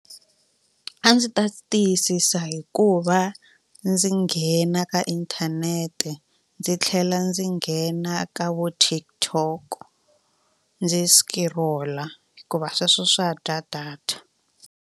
A ndzi ta tiyisisa hikuva ndzi nghena ka inthanete ndzi tlhela ndzi nghena ka vo TikTok ndzi scroll-a hikuva sweswo swa dya data.